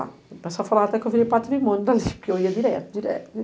O pessoal falava até que eu virei patrimônio dali, porque eu ia direto, direto, direto.